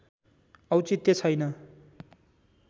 औचित्य छैन